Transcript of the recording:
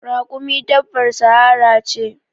Raƙumi dabbar sahara ce.